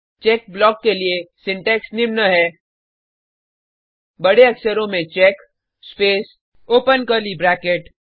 check block के लिए syntax निम्न है बड़े अक्षरों में check space open curly bracket